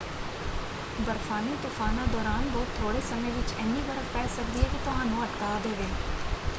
ਬਰਫ਼ਾਨੀ ਤੁਫ਼ਾਨਾਂ ਦੌਰਾਨ ਬਹੁਤ ਥੋੜ੍ਹੇ ਸਮੇਂ ਵਿੱਚ ਇੰਨੀ ਬਰਫ਼ ਪੈ ਸਕਦੀ ਹੈ ਕਿ ਤੁਹਾਨੂੰ ਅਟਕਾ ਦੇਵੇ।